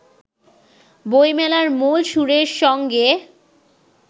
বইমেলার মূল সুরের সঙ্গে